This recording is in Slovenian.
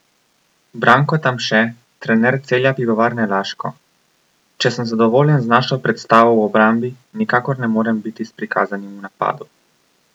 Branko Tamše, trener Celja Pivovarne Laško: 'Če sem zadovoljen z našo predstavo v obrambi, nikakor ne morem biti s prikazanim v napadu.